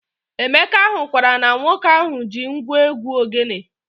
Emeka hụkwara na nwoke ahụ ji ngwo egwu ogene